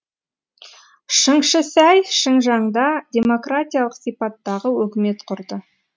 шыңшысәй шыңжаңда демократиялық сипаттағы өкімет құрды